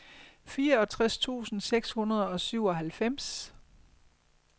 fireogtres tusind seks hundrede og syvoghalvfems